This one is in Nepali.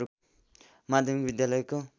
माध्यमिक विद्यालयको